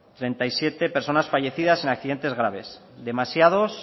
treinta y siete personas fallecidas en accidentes graves demasiados